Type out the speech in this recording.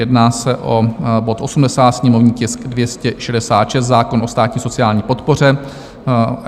Jedná se o bod 80, sněmovní tisk 266, zákon o státní sociální podpoře.